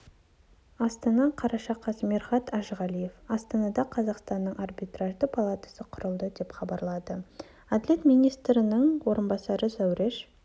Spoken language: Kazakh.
астана қараша қаз мирхат әжіғалиев астанада қазақстанның арбитражды палатасы құрылды деп хабарлады әділет министрінің орынбасары зауреш